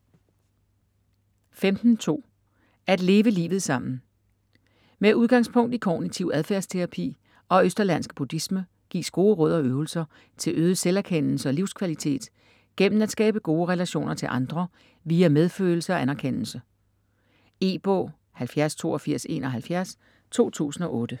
15.2 At leve livet sammen Med udgangspunkt i kognitiv adfærdsterapi og østerlandsk buddhisme gives gode råd og øvelser til øget selverkendelse og livskvalitet gennem at skabe gode relationer til andre via medfølelse og anerkendelse. E-bog 708271 2008.